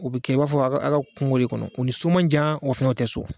U bɛ kɛ i b'a fɔ a ka a ka kungo de kɔnɔ, u ni so man jan wa o fɛnɛ o tɛ so.